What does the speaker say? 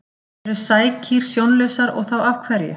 Eru sækýr sjónlausar og þá af hverju?